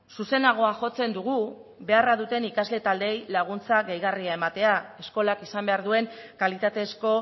zuzenagoa jotzen dugu beharra duten ikasle taldeei laguntza gehigarria ematea eskolak izan behar duen kalitatezko